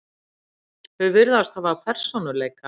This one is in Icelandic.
þau virðast hafa persónuleika